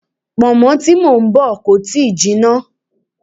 Pọ̀nmọ́ tí mò ń bọ̀ kò tíì jinná.